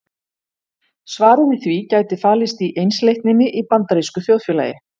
Svarið við því gæti falist í einsleitninni í bandarísku þjóðfélagi.